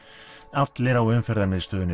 allir á Umferðarmiðstöðinni